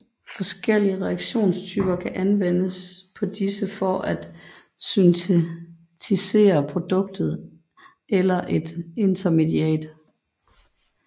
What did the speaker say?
Forskellige reaktionstyper kan anvendes på disse for at syntetisere produktet eller et intermediat